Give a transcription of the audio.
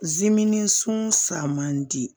Zimini sun san man di